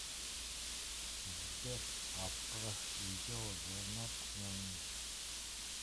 сбер отправь видеозвонок маме